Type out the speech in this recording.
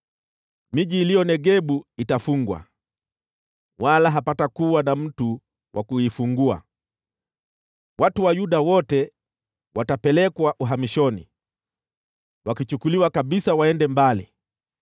Miji iliyoko Negebu itafungwa, wala hapatakuwa na mtu wa kuifungua. Watu wa Yuda wote watapelekwa uhamishoni, wakichukuliwa kabisa waende mbali.